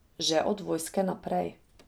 Že od vojske naprej.